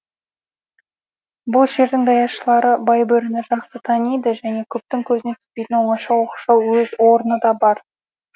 бұл жердің даяшылары байбөріні жақсы таниды және көптің көзіне түспейтін оңаша оқшау өз орны да бар